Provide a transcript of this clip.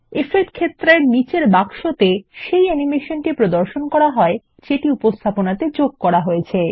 effect ক্ষেত্রের নীচের বাক্সতে সেই অ্যানিমেশন প্রদর্শন করা হয় যেটি উপস্থাপনাতে যোগ করা হয়েছে